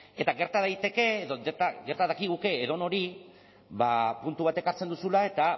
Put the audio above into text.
eta gerta daiteke gerta dakiguke edonori puntu bat ekartzen duzula eta